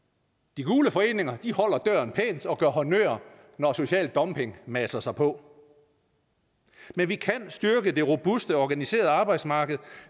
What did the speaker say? de gule foreninger holder døren pænt og gør honnør når social dumping masser sig på men vi kan styrke det robuste og organiserede arbejdsmarked